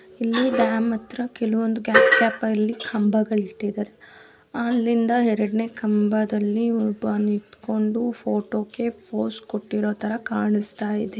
ಇಲ್ಲಿ ಡ್ಯಾಮ್ ಹತ್ರ ಕೆಲವೊಂದು ಕಂಬಗಳಿಟ್ಟಿದಾರೆ ಅಲ್ಲಿಂದ ಎರಡನೆ ಕಂಬದಲ್ಲಿ ಒಬ್ಬ ನಿಂತ್ಕೊಂಡು ಫೋಟೋಗೆ ಫೋಸ್ ಕೊಟ್ಟಿರೋತರ ಕಾಣ್ಸ್ತಯಿದೆ.